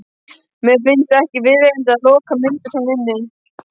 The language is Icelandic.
Mér finnst ekki viðeigandi að loka myndir svona inni.